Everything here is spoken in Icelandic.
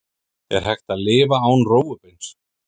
Er hægt að lifa án rófubeins?